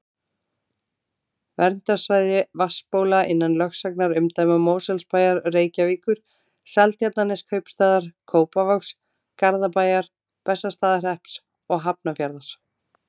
Verndarsvæði vatnsbóla innan lögsagnarumdæma Mosfellsbæjar, Reykjavíkur, Seltjarnarneskaupstaðar, Kópavogs, Garðabæjar, Bessastaðahrepps og Hafnarfjarðar.